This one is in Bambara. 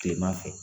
Kilema fɛ